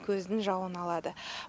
көздің жауын алады